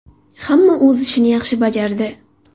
Hamma o‘z ishini yaxshi bajardi.